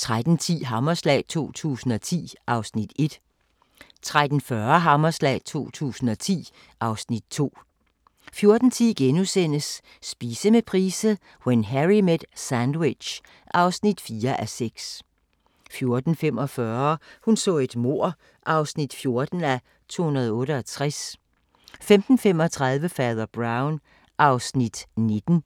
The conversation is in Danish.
13:10: Hammerslag 2010 (Afs. 1) 13:40: Hammerslag 2010 (Afs. 2) 14:10: Spise med Price – When Harry met sandwich (4:6)* 14:45: Hun så et mord (14:268) 15:35: Fader Brown (Afs. 19)